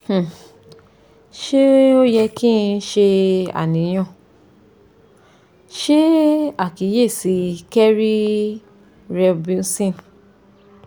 um se o ye ki n se aniyan? se akiyesi kerri reubenson